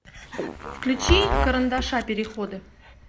включи карандаша переходы